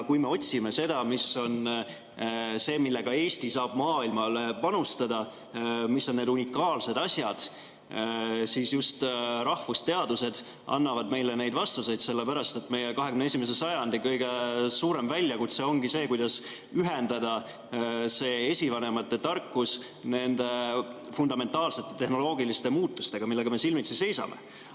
Kui me otsime seda, millega Eesti saab maailmasse panustada, mis on need unikaalsed asjad, siis just rahvusteadused annavad meile need vastused, sellepärast et 21. sajandi kõige suurem väljakutse ongi see, kuidas ühendada esivanemate tarkus nende fundamentaalsete tehnoloogiliste muutustega, millega me silmitsi seisame.